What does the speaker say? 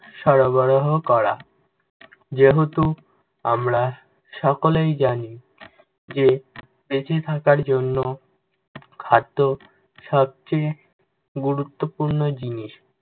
সরবরাহ করা। যেহেতু আমরা সকলেই জানি যে, বেঁচে থাকার জন্য খাদ্য সবচেয়ে গুরুত্বপূর্ণ জিনিস।